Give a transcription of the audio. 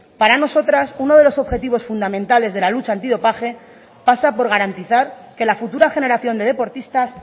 para nosotras uno de los objetivos fundamentales de la lucha antidopaje pasa por garantizar que la futura generación de deportistas